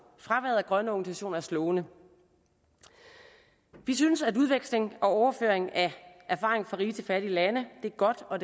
fraværet af grønne organisationer er slående vi synes at udveksling og overføring af erfaring fra rige til fattige lande er godt og